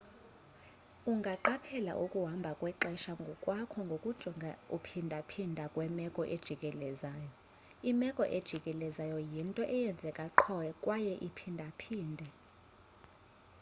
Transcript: ungaqaphela ukuhamba kwexesha ngokwakho ngokujonga ukuphindaphinda kwemeko ojikelezayo imeko ejikelezayo yinto eyenzeka qho kwayeiphinda phinde